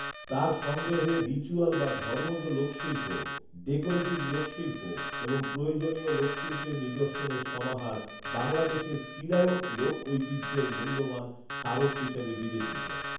তাঁর সংগ্রহে রিচ্যুয়াল বা ধর্মজ লোকশিল্প, ডেকোরেটিভ লোকশিল্প এবং প্রয়োজনীয় লোকশিল্পের নিদর্শনের সমাহার বাংলাদেশের চিরায়ত লোকঐতিহ্যের মূল্যবান স্মারক হিসেবে বিবেচিত